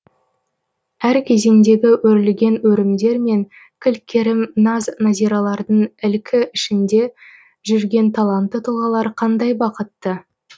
әр кезеңдегі өрілген өрімдер мен кіл керім наз нәзиралардың ілкі ішінде жүрген талантты тұлғалар қандай бақытты